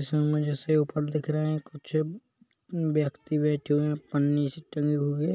इसमे मुझे सेवफल दिख रहे हैं कुछ ब्यक्ति बेठे हुए है पन्नी से टंगे हुए हुए